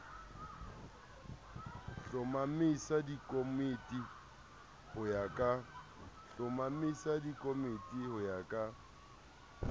hlomamisa dikomiti ho ya ka